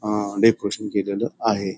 अ decoration केलेल आहे.